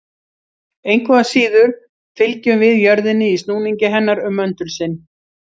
Engu að síður fylgjum við jörðinni í snúningi hennar um möndul sinn.